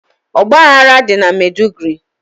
ọgbaghara dị na Meduguri.